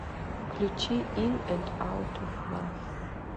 включи ин энд аут оф лав